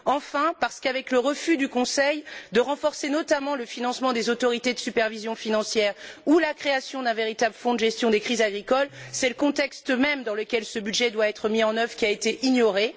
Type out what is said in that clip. Enfin, parce qu'avec le refus du Conseil de renforcer notamment le financement des autorités de supervision financière ou la création d'un véritable fonds de gestion des crises agricoles, c'est le contexte même dans lequel ce budget doit être mis en œuvre qui a été ignoré.